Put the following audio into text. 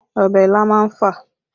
Ọbẹ̀ ilá má ń fà